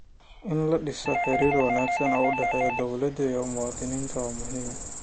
In la dhiso xiriir wanaagsan oo u dhexeeya dowladda iyo muwaadiniinta waa muhiim.